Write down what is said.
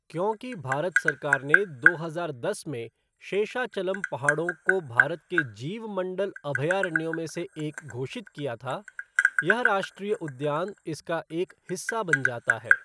क्योंकि भारत सरकार ने दो हजार दस में शेषाचलम पहाड़ों को भारत के जीवमंडल अभयारण्यों में से एक घोषित किया था, यह राष्ट्रीय उद्यान इसका एक हिस्सा बन जाता है।